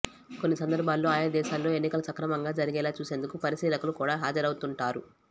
కొన్ని సందర్భాల్లో ఆయా దేశాల్లో ఎన్నికలు సక్రమంగా జరిగేలా చూసేందుకు పరిశీలకులు కూడా హాజరవుతుంటారు